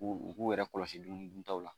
K'u u k'u yɛrɛ kɔlɔsi dumuni duntaw la